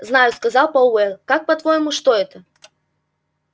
знаю сказал пауэлл как по-твоему что это